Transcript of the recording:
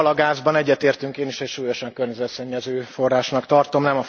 A palagázban egyetértünk, én is nagyon súlyosan környezetszennyező forrásnak tartom.